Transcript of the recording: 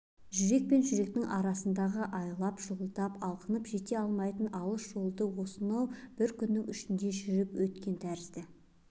жүрек пен жүректің арасындағы айлап-жылдап алқынып жете алмайтын алыс жолды осынау бір күннің ішінде жүріп өткен тәрізді